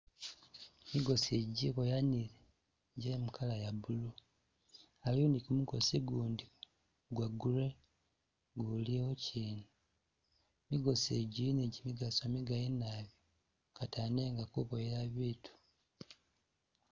Migosi igi jiboyanile je mu color ya blue, aliwo ni gumukosi gundi gwa grey guliwokyina, migosi gi gili ni gimigaso migali nabi katano nga kuboyela bitu